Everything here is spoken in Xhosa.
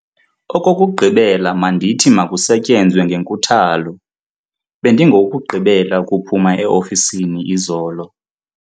Okokugqibela mandithi makusetyenzwe ngenkuthalo. bendingowokugqibela ukuphuma e-ofisini izolo